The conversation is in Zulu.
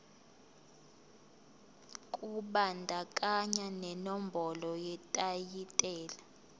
kubandakanya nenombolo yetayitela